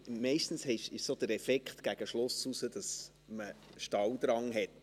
Meistens ist der Effekt gegen den Schluss, dass man Stalldrang hat.